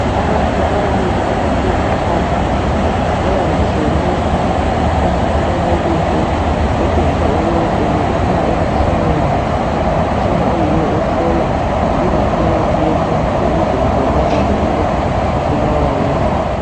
Abantu ababili abahlezi phansi babambisane umfanekiso otshengisa ukuba ubuphuma emtshineni umtshina oyiwo ohlola ingaphakathi yomuntu ukuze kubonakale ukuba ubulawa yini .